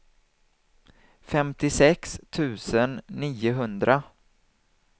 femtiosex tusen niohundra